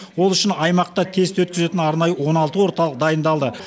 ол үшін аймақта тест өткізетін арнайы он алты орталық дайындалды